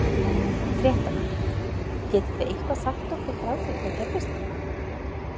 Fréttamaður: Getið þið eitthvað sagt okkur frá því hvað gerðist þarna?